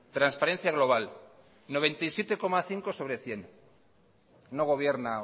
transparencia global noventa y siete coma cinco sobre cien no gobierna